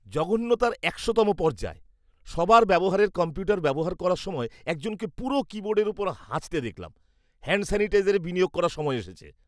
জঘন্যতার একশোতম পর্যায়! সবার ব্যবহারের কম্পিউটার ব্যবহার করার সময় একজনকে পুরো কীবোর্ডের ওপর হাঁচতে দেখলাম। হ্যাণ্ড স্যানিটাইজারে বিনিয়োগ করার সময় এসেছে।